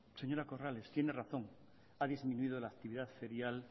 señora corrales tiene razón ha disminuido la actividad ferial